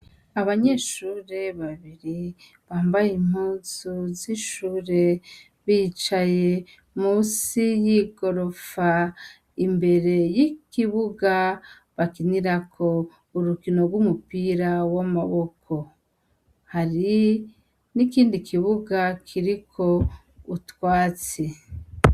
Abanyeshure babiri bambaye impuzu z'ishure bicaye musi y'igorofa imbere y'ikibuga bakinirako urukino rw'umupira w'amaboko. Hari n'ikindi kibuga kiriko utwatsi.